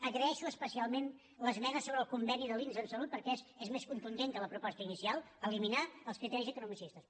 agraeixo especialment l’esmena sobre el conveni de l’inss en salut perquè és més contundent que la proposta inicial eliminar els criteris economicistes